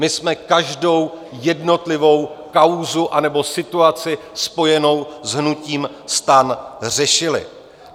My jsme každou jednotlivou kauzu anebo situaci spojenou s hnutím STAN řešili.